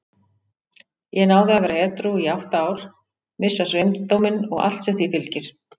Ég náði að vera edrú í átta ár, missa sveindóminn og allt sem því fylgir.